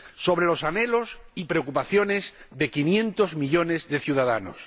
sobre los anhelos y preocupaciones de 500 millones de ciudadanos.